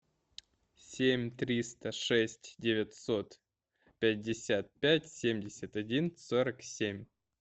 семь триста шесть девятьсот пятьдесят пять семьдесят один сорок семь